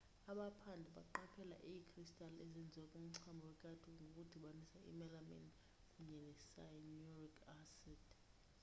abaphandi baqaphela iikristali ezenziwe kumchamo wekati ngokudibanisa i-melamine kunye ne-cyanuric acid